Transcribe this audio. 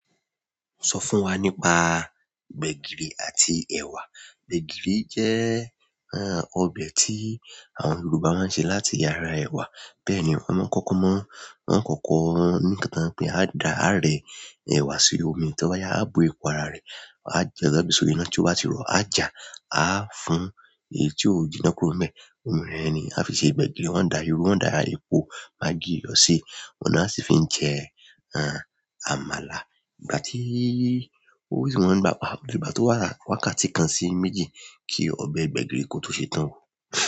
O sọ fún wa nípa gbẹ̀gìrì àti ẹwà. Gbẹ̀gìrì jẹ́ ọbẹ̀ tí àwọn Yorùbá máa ń ṣe láti ara ẹwà. Bẹ́ẹ̀ ni wọ́n máa ń kọ́kọ́ mọ́, wọ́n máa ń kọ́kọ́ ní kàn pé a dá, a rẹ ẹwà sí omi, tí ọ bá yá, a bó epo ara rẹ̀, a jẹ ọ̀bẹ sórí iná tí ó bá ti rọ̀, a jà, a fún èyí tí ó jí iná kurobẹ́. Òòrùn rẹ̀ ni a fi ṣe gbẹ̀gìrì. Wọ́n dá irú, wọ́n dá epo, magí, iyọ̀ ṣe. Ọ̀nà á sì fi ń jẹ àmàlà. Ìgbà tí ó wù sí wọn ní ìgbàgbọ́, ìgbà tí wọ́n bá wá ká tí kan sí méjì kí ọbẹ̀ gbẹ̀gìrì kó tó ṣe tán.